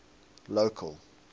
local